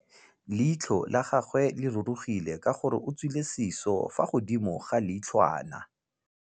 Leitlhô la gagwe le rurugile ka gore o tswile sisô fa godimo ga leitlhwana.